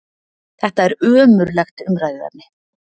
Þetta er ömurlegt umræðuefni!